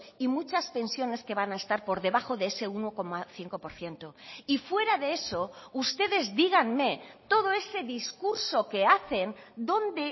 y muchas pensiones que van a estar por debajo de ese uno coma cinco por ciento y fuera de eso ustedes díganme todo ese discurso que hacen dónde